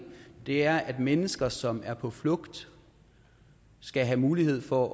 er at mennesker som er på flugt skal have mulighed for